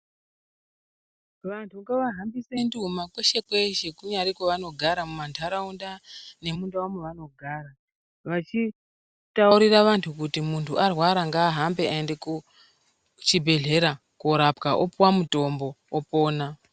Vantu ngavahambise nduma kweshe-kweshe kunyari kwevanogara ,mumantaraunda nemundau mevanogara vachitaurira vantu kuti muntu arwara ngaahambe aende kuchibhedhlera korapwa ,opuwa mutombo opona.